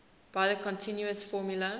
by the continuous formula